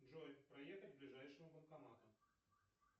джой проехать к ближайшему банкомату